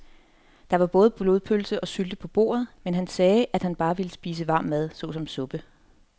Der var både blodpølse og sylte på bordet, men han sagde, at han bare ville spise varm mad såsom suppe.